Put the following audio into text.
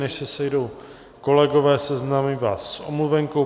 Než se sejdou kolegové, seznámím vás s omluvenkou.